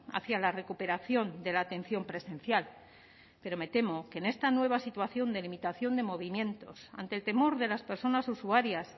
hacia la recuperación de la atención presencial pero me temo que en esta nueva situación de limitación de movimientos ante el temor de las personas usuarias